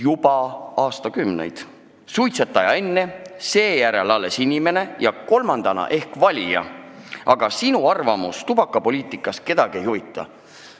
Kõigepealt oled suitsetaja, seejärel inimene ja kolmandana ehk valija, aga sinu arvamus tubakapoliitika kohta kedagi ei huvita.